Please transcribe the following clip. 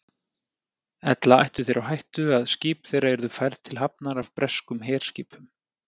Ella ættu þeir á hættu, að skip þeirra yrðu færð til hafnar af breskum herskipum.